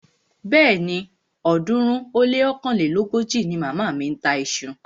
Bẹ́ẹ̀ni, ọ̀ọ́dúnrún ó lé ọ̀kánlélógójì ni màmá mi ń ta iṣu